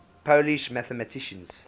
polish mathematicians